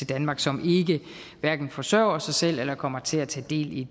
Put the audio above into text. danmark som hverken forsørger sig selv eller kommer til at tage del i